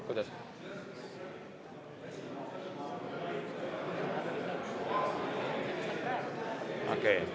Kuidas?